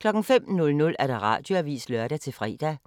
05:00: Radioavisen (lør-fre)